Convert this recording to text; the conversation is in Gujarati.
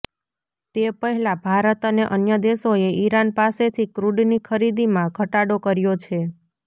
તે પહેલા ભારત અને અન્ય દેશોએ ઇરાન પાસેથી ક્રૂડની ખરીદીમાં ઘટાડો કર્યો છે